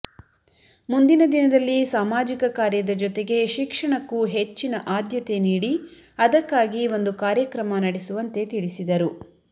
ಮುಂದಿನ ದಿನದಲ್ಲಿ ಸಮಾಜಿಕ ಕಾರ್ಯದ ಜೊತೆಗೆ ಶಿಕ್ಷಣಕ್ಕೂ ಹೆಚ್ಚಿನ ಆದ್ಯತೆ ನೀಡಿ ಅದಕ್ಕಾಗಿ ಒಂದು ಕಾರ್ಯಕ್ರಮ ನಡೆಸುವಂತೆ ತಿಳಿಸಿದರು